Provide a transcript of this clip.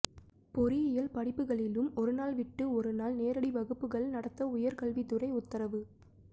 பொறியியல் படிப்புகளிலும் ஒருநாள் விட்டு ஒருநாள் நேரடி வகுப்புகள் நடத்த உயர் கல்வித் துறை உத்தரவு